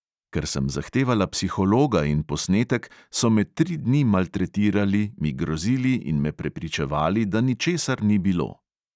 Ker sem zahtevala psihologa in posnetek, so me tri dni maltretirali, mi grozili in me prepričevali, da ničesar ni bilo.